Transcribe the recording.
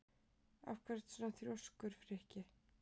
Af hverju ertu svona þrjóskur, Frikki?